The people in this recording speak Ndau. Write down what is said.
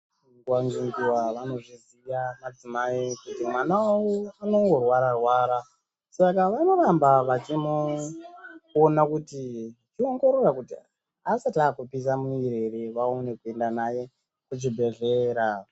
Nguwa ngenguwa vanozviziva madzimai kuti mwana wavo anongorwara rwara Saka vanoramba vachimuona kuti vachiongorora kuti asati akupisa mumwiri here vachiongorora vaende naye kuchibhedhlera.